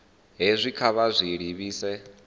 hezwi kha vha zwi livhise